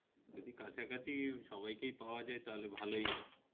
যদি কাছাকাছি সবাইকে পাওয়া যায় তাহলে ভালই হয়